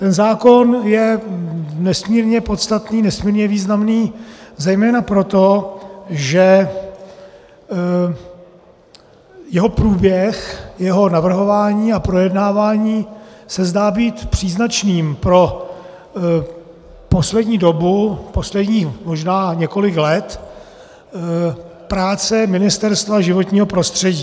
Ten zákon je nesmírně podstatný, nesmírně významný, zejména proto, že jeho průběh, jeho navrhování a projednávání se zdá být příznačným pro poslední dobu, posledních možná několik let práce Ministerstva životního prostředí.